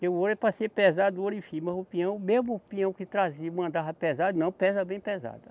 Porque o ouro é para ser pesado, o ouro enfim, mas o peão, mesmo o peão que trazia mandava pesado, não, pesa bem pesado.